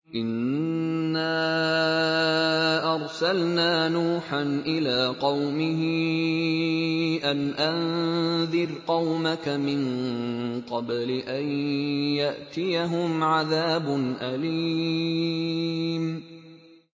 إِنَّا أَرْسَلْنَا نُوحًا إِلَىٰ قَوْمِهِ أَنْ أَنذِرْ قَوْمَكَ مِن قَبْلِ أَن يَأْتِيَهُمْ عَذَابٌ أَلِيمٌ